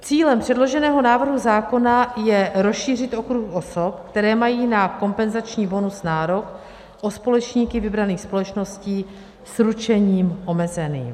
Cílem předloženého návrhu zákona je rozšířit okruh osob, které mají na kompenzační bonus nárok, o společníky vybraných společností s ručením omezeným.